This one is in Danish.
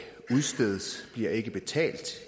udstedes bliver ikke betalt